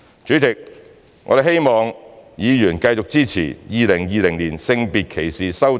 主席，我們希望議員繼續支持《條例草案》。